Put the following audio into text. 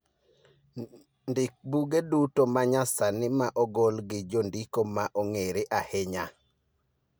ndik buge duto ma nyasani ma ogol gi jondiko ma ong�ere ahinya